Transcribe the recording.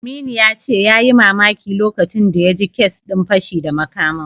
Aminu ya ce yayi mamaki lokacin da ya ji kes din fashi da makamin.